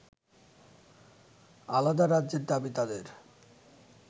আলাদা রাজ্যের দাবি তাদের